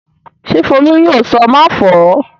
Ṣé Folú yóò sọ "máfọ̀ọ́"?